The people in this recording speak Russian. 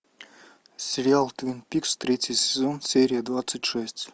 сериал твин пикс третий сезон серия двадцать шесть